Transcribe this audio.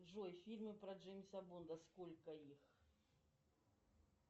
джой фильмы про джеймса бонда сколько их